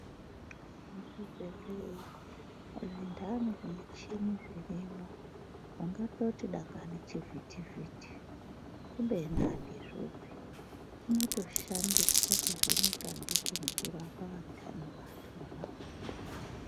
Muzvibhedhleya zvindani zvimichini zvirimwo, ungatoti dangani chivhiti-vhiti kubeni andizvopi, chinotoshandiswa kuvheneka ndicho nekurapa vantani vantu mwona imwomwo.